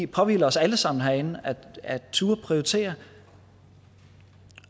påhviler os alle sammen herinde at turde prioritere